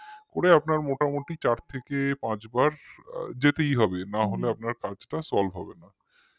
করে আপনার মোটামুটি জাত থেকে পাঁচবার যেতেই হবে, না গেলে আপনার কাজটা solve হবে না